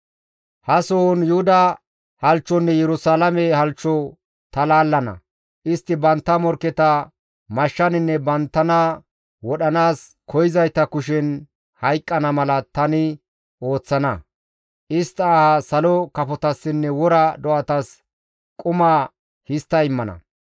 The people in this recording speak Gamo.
« ‹Ha sohon Yuhuda halchchonne Yerusalaame halchcho ta laallana; istti bantta morkketa mashshaninne banttana wodhanaas koyzayta kushen hayqqana mala tani ooththana; istta aha salo kafotassinne wora do7atas quma histta immana.